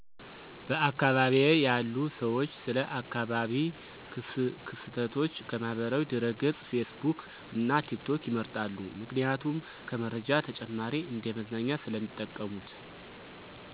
በአካባቢየ ያሉ ሰዎች ስለ አካባቢ ክስተቶች ከማህበራዊ ድረገጽ ፌስቡክ እና ቲክቶክ ይመርጣሉ ምክንያቱም ከመረጃ ተጨማሪ እንደ መዝናኛ ስለሚጠቀሙት።